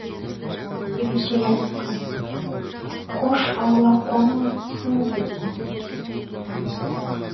жиреншеге айтыпты қош аула қоныңыз түсіңіз депті